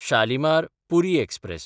Shalimar-Puri express